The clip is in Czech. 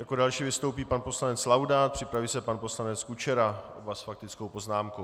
Jako další vystoupí pan poslanec Laudát, připraví se pan poslanec Kučera, oba s faktickou poznámkou.